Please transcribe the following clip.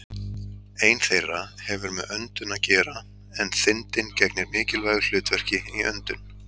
Ein þeirra hefur með öndun að gera en þindin gegnir mikilvægu hlutverki í öndun.